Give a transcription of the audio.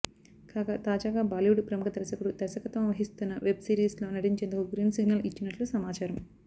కాగా తాజాగా బాలీవుడ్ ప్రముఖ దర్శకుడు దర్శకత్వం వహిస్తున్న వెబ్ సిరీస్ లో నటించేందుకు గ్రీన్ సిగ్నల్ ఇచ్చినట్లు సమాచారం